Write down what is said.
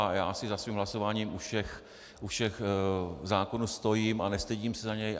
A já si za svým hlasováním u všech zákonů stojím a nestydím se za něj.